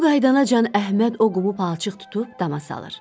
Bu qaydanacan Əhməd o qumu palçıq tutub dama salır.